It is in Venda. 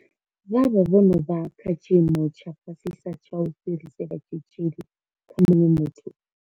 Vha vha vho no vha kha tshiimo tsha fhasisa tsha u fhirisela tshitzhili kha muṅwe muthu.